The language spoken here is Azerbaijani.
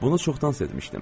Bunu çoxdan sezmişdim.